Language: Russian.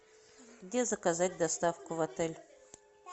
где заказать доставку в отель